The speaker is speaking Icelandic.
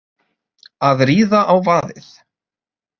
Að ríða á vaðið